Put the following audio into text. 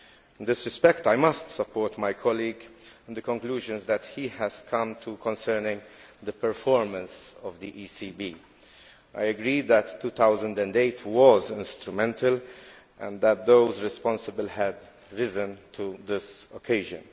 In this respect, I must support my colleague in the conclusion he has come to concerning the performance of the ECB. I agree that 2008 was instrumental and that those responsible have risen to this occasion.